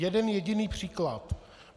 Jeden jediný příklad.